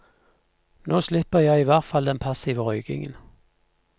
Nå slipper jeg i hvert fall den passive røykingen.